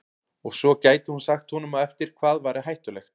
Og svo gæti hún sagt honum á eftir hvað væri hættulegt.